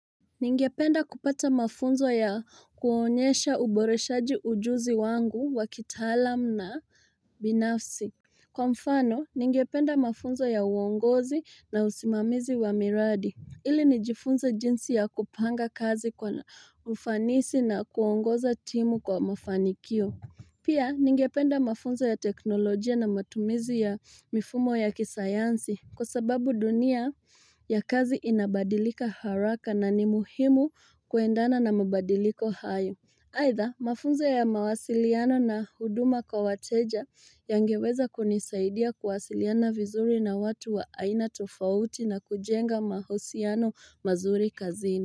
Ningependa kupata mafunzo ya kuonyesha uboreshaji ujuzi wangu wakitaalam na binafsi. Kwa mfano ningependa mafunzo ya uongozi na usimamizi wa miradi Ili nijifunze jinsi ya kupanga kazi kwa ufanisi na kuongoza timu kwa mafanikio Pia ningependa mafunzo ya teknolojia na matumizi ya mifumo ya kisayansi kwasababu dunia ya kazi inabadilika haraka na ni muhimu kuendana na mabadiliko hayo aidha mafunzo ya mawasiliano na huduma kwa wateja yangeweza kunisaidia kuwasiliana vizuri na watu wa aina tofauti na kujenga mahusiano mazuri kazini.